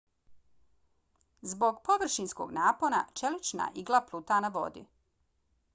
zbog površinskog napona čelična igla pluta na vodi